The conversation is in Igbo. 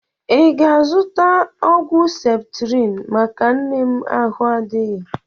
Ị ga-azụta ọgwụ septrịn maka nne m ahụ adịghị?